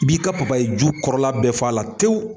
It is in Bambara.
I b'i ka papaye ju kɔrɔla bɛɛ f'a la tewu.